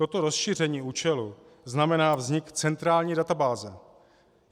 Toto rozšíření účelu znamená vznik centrální databáze.